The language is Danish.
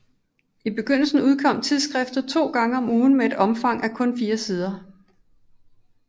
I begyndelsen udkom tidsskriftet to gange om ugen med et omfang af kun fire sider